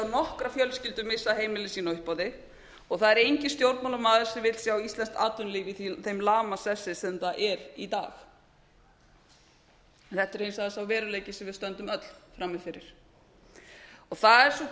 nokkra fjölskyldu missa heimili sín á uppboði og það er enginn stjórnmálamaður sem vill sjá íslenskt atvinnulíf í því lamasessi sem það er í dag þetta er hins vegar sá veruleiki sem við stöndum öll frammi fyrir og það er sú